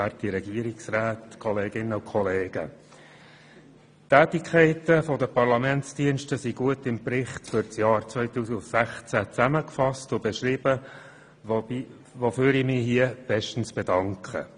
Die Tätigkeiten der Parlamentsdienste sind im Bericht für das Jahr 2016 gut zusammengefasst und beschrieben, wofür ich mich hiermit bestens bedanke.